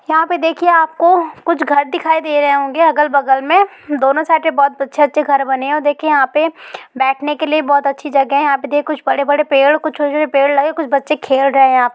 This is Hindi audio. यहा पे देखिए आपको कुछ घर दिखाई दे रहे होंगे अगल बगल मे | दोनो साइड पे बहुत अच्छे अच्छे घर बने हैं और देखिए यहा पे बैठने के लिए बहुत अच्छी जगह है | यहा पे कुछ बड़े बड़े पेड कुछ छोटे छोटे पेड लगे है | कुछ बच्चे खेल रहे हैं यहाँ पे ।